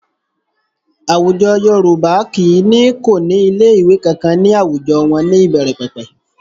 Àwùjọ Yorùbá kì í ní kò ní ilé ìwé kankan ní àwùjọ wọn ní ìbẹ̀rẹ̀pẹ̀pẹ̀